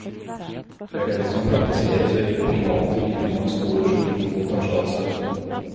Det er dette som praktiseres ved private videregående skoler som ikke mottar statsstøtte.